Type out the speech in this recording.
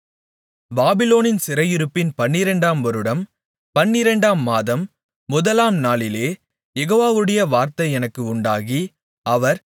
பாபிலோனின் சிறையிருப்பின் பன்னிரண்டாம் வருடம் பன்னிரண்டாம் மாதம் முதலாம் நாளிலே யெகோவாவுடைய வார்த்தை எனக்கு உண்டாகி அவர்